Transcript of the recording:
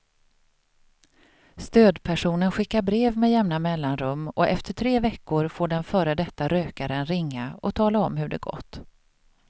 Stödpersonen skickar brev med jämna mellanrum och efter tre veckor får den före detta rökaren ringa och tala om hur det gått.